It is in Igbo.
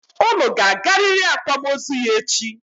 Unu ga-agarịrị akwamozu ya echi!